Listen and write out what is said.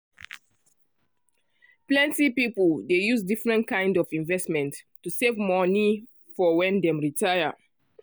plenty people dey use different kind of investments to save money for when dem retire.